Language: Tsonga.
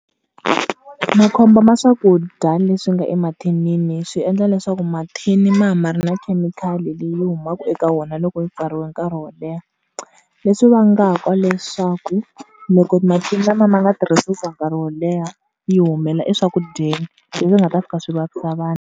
Makhombo ma swakudya leswi nga emathinini swi endla leswaku mathini ma va ma ri na khemikhali leyi humaka eka wona loko yi pfariwe nkarhi wo leha. Leswi vangaka leswaku, loko mathini lamaya ma nga tirhisiwi for nkarhi wo leha yi humela eswakudyeni, leswi nga ta fika swi vavisa vanhu.